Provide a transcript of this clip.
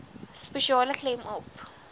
spesiale klem op